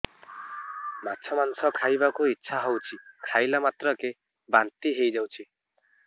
ମାଛ ମାଂସ ଖାଇ ବାକୁ ଇଚ୍ଛା ହଉଛି ଖାଇଲା ମାତ୍ରକେ ବାନ୍ତି ହେଇଯାଉଛି